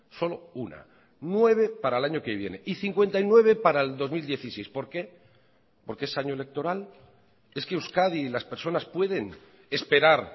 solo una nueve para el año que viene y cincuenta y nueve para el dos mil dieciséis por qué por qué es año electoral es que euskadi y las personas pueden esperar